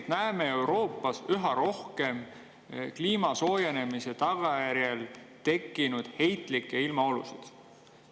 Me näeme Euroopas üha rohkem kliima soojenemise tagajärjel tekkinud heitlikke ilmaolusid.